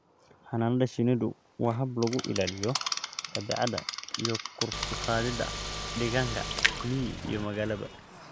Xannaanada shinnidu waa hab lagu ilaaliyo dabeecadda iyo kor u qaadida deegaanka miyi iyo magaalaba.